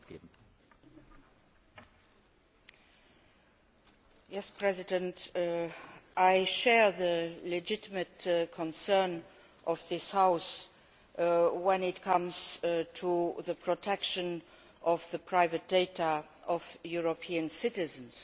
Mr President, I share the legitimate concerns of this House when it comes to the protection of the private data of European citizens.